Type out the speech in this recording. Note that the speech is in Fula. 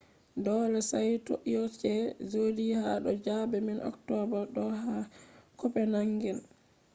dole saito ioc jodi ha do zabe man october do ha copenhagen